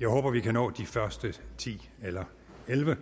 jeg håber vi kan nå de første ti eller elleve